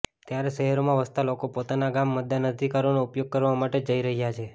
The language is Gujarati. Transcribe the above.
ત્યારે શહેરમાં વસતા લોકો પોતાના ગામ મતદાન અધિકારનો ઉપયોગ કરવા માટે જઇ રહ્યા છે